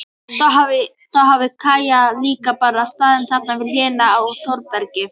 Þá hafi Kaj líka bara staðið þarna við hliðina á Þórbergi.